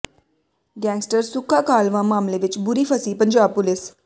gangster Sukha Kahlwan ਮਾਮਲੇ ਵਿਚ ਬੁਰੀ ਫਸੀ ਪੰਜਾਬ ਪੁਲਿਸ